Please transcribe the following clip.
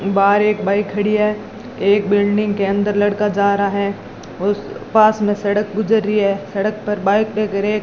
बाहर एक बाइक खड़ी हैं एक बिल्डिंग के अंदर लड़का जा रहा हैं उस पास में सड़क गुजर रही हैं सड़क पर बाइक वगैरे--